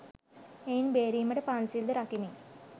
එයින් බේරීමට පන්සිල්ද රකිමින්